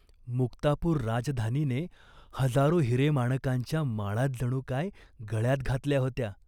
मुक्तापूर राजधानीने हजारो हिरेमाणकांच्या माळाच जणू काय गळ्यात घातल्या होत्या.